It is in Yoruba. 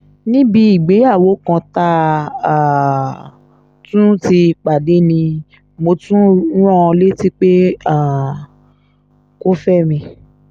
níbi ìgbéyàwó kan tá a um tún ti pàdé ni mo tún rán an létí pé um kò fẹ́ mi